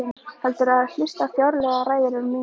Heldur en hlusta á fáránlegar ræður um mín mál.